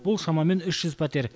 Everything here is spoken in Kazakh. бұл шамамен үш жүз пәтер